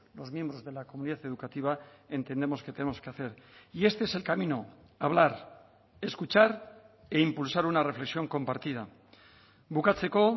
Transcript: los miembros de la comunidad educativa entendemos que tenemos que hacer y este es el camino hablar escuchar e impulsar una reflexión compartida bukatzeko